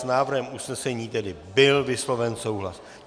S návrhem usnesení tedy byl vysloven souhlas.